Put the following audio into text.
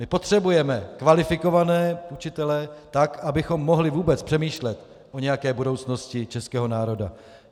My potřebujeme kvalifikované učitele, tak abychom mohli vůbec přemýšlet o nějaké budoucnosti českého národa.